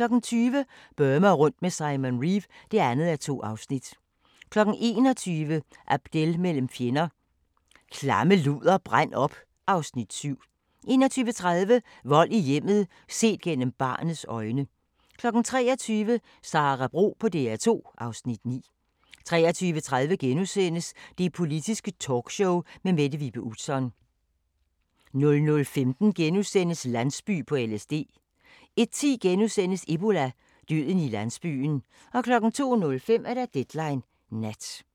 20:00: Burma rundt med Simon Reeve (2:2) 21:00: Abdel mellem fjender – "Klamme luder, brænd op" (Afs. 7) 21:30: Vold i hjemmet – set gennem barnets øjne 23:00: Sara Bro på DR2 (Afs. 9) 23:30: Det Politiske Talkshow med Mette Vibe Utzon * 00:15: Landsby på LSD * 01:10: Ebola – døden i landsbyen * 02:05: Deadline Nat